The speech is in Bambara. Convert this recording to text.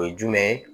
O ye jumɛn ye